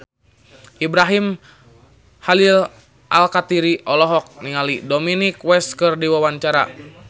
Ibrahim Khalil Alkatiri olohok ningali Dominic West keur diwawancara